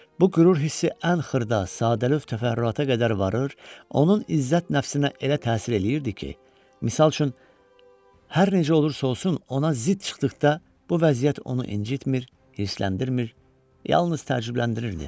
Bu qürur hissi ən xırda, sadəlövh təfərrüata qədər varır, onun izzət nəfsinə elə təsir eləyirdi ki, misal üçün hər necə olursa olsun, ona zid çıxdıqda bu vəziyyət onu incitmir, hirsləndirmir, yalnız təəccübləndirirdi.